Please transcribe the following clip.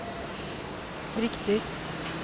riktigt